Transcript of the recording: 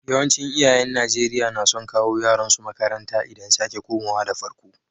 Yawancin iyayen Nijeriya na son kawo yaran su makaranta idan sake komawa da farko.